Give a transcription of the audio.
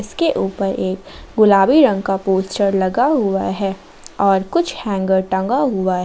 इसके ऊपर एक गुलाबी रंग का पोस्टर लगा हुआ है और कुछ हैंगर टंगा हुआ है।